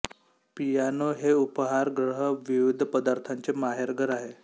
piano हे उपहार ग्रह विविध पदार्थांचे माहेरघर आहे